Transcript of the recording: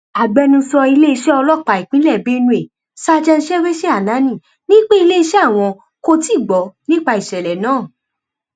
agbẹnusọ iléeṣẹ ọlọpàá ìpínlẹ benue state sèwéṣe ananéè ni pé iléeṣẹ àwọn kò tí ì gbọ nípa ìṣẹlẹ náà